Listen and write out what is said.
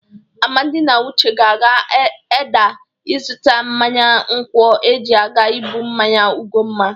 Amadị na Uche ga-aga Edda ịzụta mmanya nkwọ eji aga ibụ mmanya Ugomma